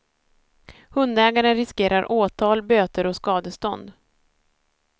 Hundägaren riskerar åtal, böter och skadestånd.